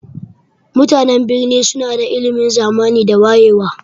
Mutanan birni suna da ilimin zamani da wayewa.